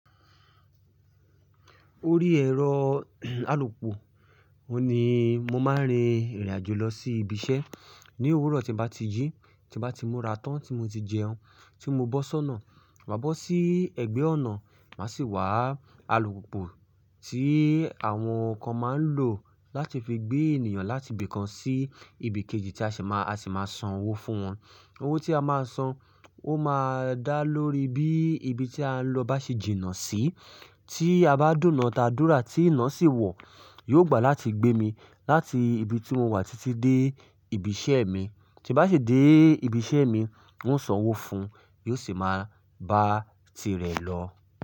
Orí ẹ̀rọ alùpù òní mo máa ń rin ìrìn àjò lọ sí ibi iṣẹ́. Ni òwúrọ̀ tí n bá ti jí, tí n bá ti mu ratán, tí mo ti jẹun, tí mo sọ́nà, máa bọ́ sí ẹ̀gbẹ́ ọ̀nà, màá sì wá alùpùpù tí àwọn kan máa ń lò láti fi gbé ènìyàn láti ibi kan sí ibi kejì tí a sì máa, a sì máa san owó fún wọn. Owó tí a máa san, ó máa dá lórí bí ibi tí a ń lọ bá ṣe jìnnà sí. Tí a bá dùnná ta dùrà tí iná sì wọ̀, yóò gbà láti gbé mi láti ibi tí mo wà títí dé ibi iṣẹ́ mi. Tí bá sì dé ibi iṣẹ́ mi, ń ó san owó fún un, yóò sì máa bá tirẹ̀ lọ.